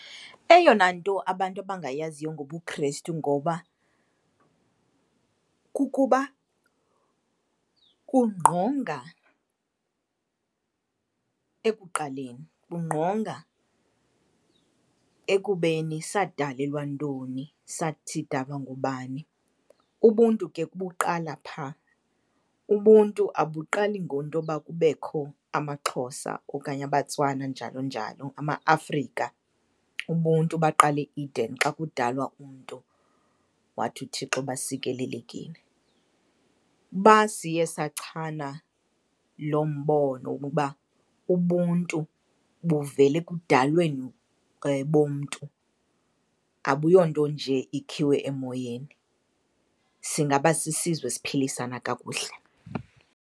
Eyona nto abantu abangayaziyo ngobuKrestu ngoba kukuba kungqonga ekuqaleni, bungqonga ekubeni sadalelwa ntoni, sidalwa ngubani. Ubuntu ke buqala pha, ubuntu abuqali ngentoba kubekho amaXhosa okanye abaTswana njalo njalo, amaAfrika. Ubuntu baqala e-Eden xa kudalwa umntu, wathi uThixo basikelelekile. Uba siye sachana loo mbono wokuba ubuntu buvela ekudalweni bomntu abuyonto nje ikhiwe emoyeni, singaba sisizwe esiphilisana kakuhle.